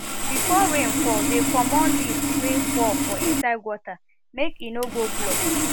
before rain fall dey commot leaf wey fall for inside gutter make e no go block